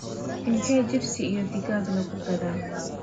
inte jipsi iyo digagad lagugadhaa